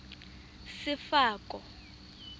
sefako